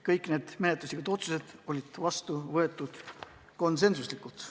Kõik need menetluslikud otsused võeti vastu konsensusega.